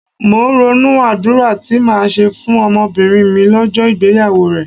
Mò ń ronú àdúrà tí màá ṣe fún ọmọbìnrin mi lọ́jọ́ ìgbéyàwó rẹ̀.